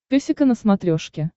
песика на смотрешке